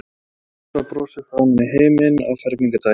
Rósa brosir framan í heiminn á fermingardaginn.